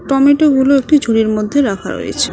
টমেটোগুলো একটি ঝুড়ির মধ্যে রাখা রয়েছে।